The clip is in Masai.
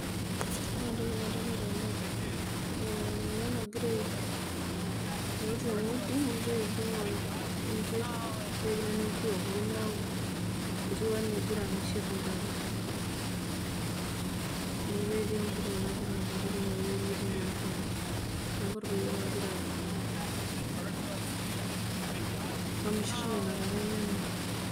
Ore entoki nadolita naa orpayian oota engudi negira aibung enkerr negira naa enpuruo apuku neeeku ketiu enaa kegira amishirr intare amuu ketii empuruo nagira apuru teinewueji netii naa ntare neeku olpayian ogira amishirr nena tare enyana.